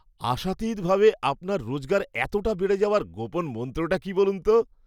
আশাতীত ভাবে আপনার রোজগার এতটা বেড়ে যাওয়ার গোপন মন্ত্রটা কি বলুন তো!